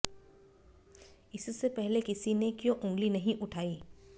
इससे पहले किसी ने क्यों ऊँगली नहीं उठाई